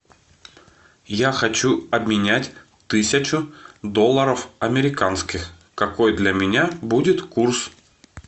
я хочу обменять тысячу долларов американских какой для меня будет курс